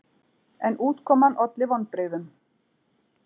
En útkoman olli vonbrigðum.